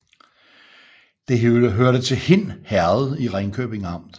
Det hørte til Hind Herred i Ringkøbing Amt